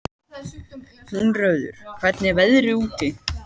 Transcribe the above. Húnröður, hvernig er veðrið úti?